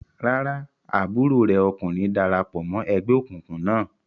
Rárá, àbúrò rẹ̀ ọkùnrin dara pọ̀ mọ́ ẹgbẹ́ òkùnkùn náà.